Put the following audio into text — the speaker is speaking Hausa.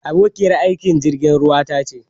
Abokiyar aikin jirgin ruwa ta ce.